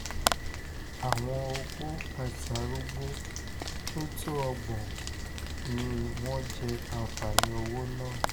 àwọn opó àti arúgbó tó tó ọgbọ̀n tó ọgbọ̀n ni wọ́n jẹ́ àǹfààní owó náà